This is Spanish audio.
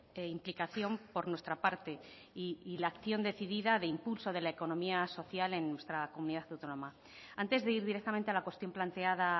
e implicación por nuestra parte y la acción decidida de impulso de la economía social en nuestra comunidad autónoma antes de ir directamente a la cuestión planteada